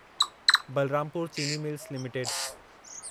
Balrampur Chini mills limited